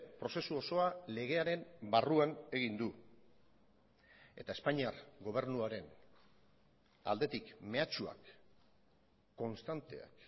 prozesu osoa legearen barruan egin du eta espainiar gobernuaren aldetik mehatxuak konstanteak